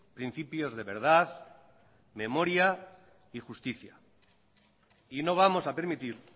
principios de verdad memoria y justicia y no vamos a permitir